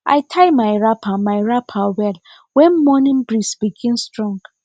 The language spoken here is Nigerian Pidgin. i tie my wrapper my wrapper well when morning breeze begin strong